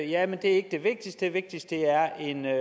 jamen det er ikke det vigtigste det vigtigste er